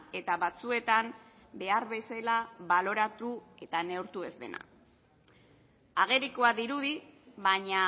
eta batzuetan behar bezala baloratu eta neurtu ez dena agerikoa dirudi baina